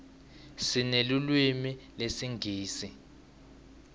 sinelulwimi lesingisi